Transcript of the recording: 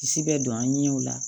Kisi bɛ don an ɲɛ o la